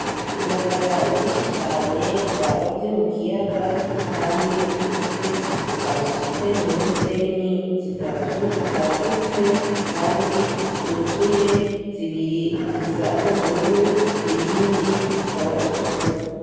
Indagara nyinshi cane barovye mukiyaga kandi zikuze, basutse mw'ibeseni zitatu zagutse kandi zuzuye, zibiri zisa n'ubururu, iyindi ikaba itukura